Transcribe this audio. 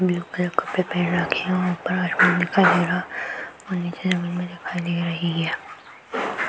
Blue colour कपडे पहेन रखे है ऊपर आसमान दिखाई दे रहा है और नीचे जमीन भी दिखाई दे रही है।